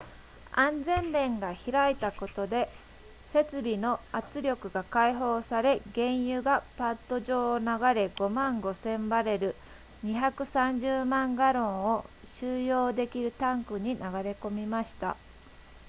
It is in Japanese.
安全弁が開いたことで設備の圧力が解放され原油がパッド上を流れ 55,000 バレル230万ガロンを収容できるタンクに流れ込みました